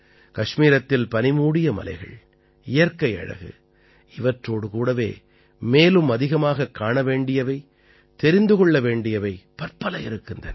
கஷ்மீரத்தில் பனிமூடிய மலைகள் இயற்கை அழகு இவற்றோடு கூடவே மேலும் அதிகமாகக் காண வேண்டியவை தெரிந்து கொள்ள வேண்டியவை பற்பல இருக்கின்றன